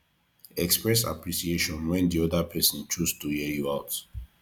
express appreciation when di oda person choose to hear you out